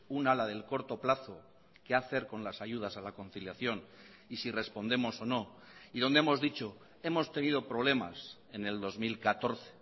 una la del corto plazo qué hacer con las ayudas a la conciliación y si respondemos o no y donde hemos dicho hemos tenido problemas en el dos mil catorce